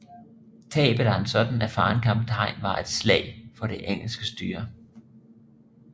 Tabet af en sådan erfaren kaptajn var et slag for det engelske styre